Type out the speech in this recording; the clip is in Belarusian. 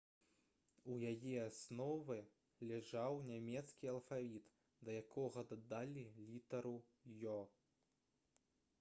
у яе аснове ляжаў нямецкі алфавіт да якога дадалі літару «õ/õ»